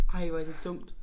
Ej hvor er det dumt